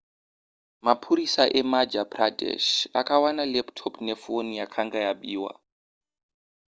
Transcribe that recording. mapurisa emadhya pradesh akawana laptop nefoni yakanga yabiwa